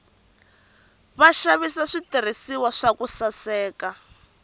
vaxava switirhiswa swa ku saseka